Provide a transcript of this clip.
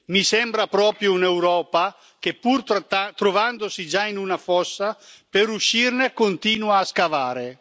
Mi sembra proprio un'Europa che, pur trovandosi già in una fossa, per uscirne continua a scavare.